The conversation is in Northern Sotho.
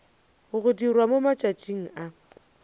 go dirwa mo matšatšing a